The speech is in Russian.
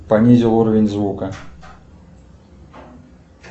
понизил уровень звука